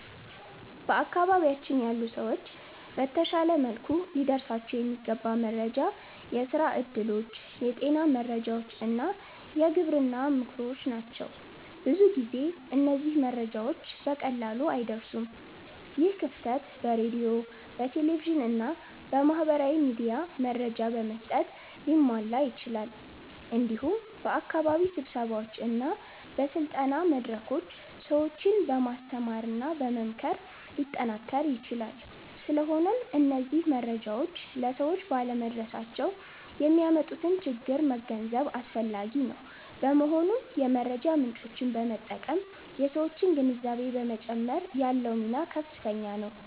በአካባቢያችን ያሉ ሰዎች በተሻለ መልኩ ሊደርሳቸው የሚገባ መረጃ የስራ እድሎች፣ የጤና መረጃዎች እና የግብርና ምክሮች ናቸው። ብዙ ጊዜ እነዚህ መረጃዎች በቀላሉ አይደርሱም። ይህ ክፍተት በሬዲዮ፣ በቴሌቪዥን እና በማህበራዊ ሚዲያ መረጃ በመስጠት ሊሟላ ይችላል። እንዲሁም በአካባቢ ስብሰባዎች እና በስልጠና መድረኮች ሰዎችን በማስተማርና በመምከር ሊጠናከር ይችላል። ስለሆነም እነዚህ መረጃዎች ለሰዎች ባለመድረሳቸው የሚያመጡትን ችግር መገንዘብ አስፈላጊ ነው። በመሆኑም የመረጃ ምጮችን በመጠቀም የሠዎችን ግንዛቤ በመጨመር ያለው ሚና ከፍተኛ ነው።